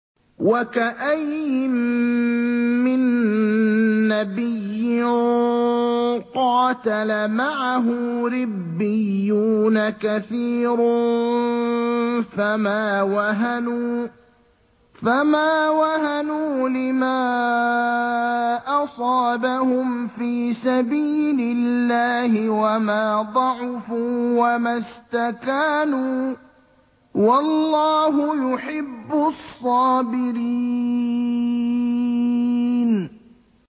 وَكَأَيِّن مِّن نَّبِيٍّ قَاتَلَ مَعَهُ رِبِّيُّونَ كَثِيرٌ فَمَا وَهَنُوا لِمَا أَصَابَهُمْ فِي سَبِيلِ اللَّهِ وَمَا ضَعُفُوا وَمَا اسْتَكَانُوا ۗ وَاللَّهُ يُحِبُّ الصَّابِرِينَ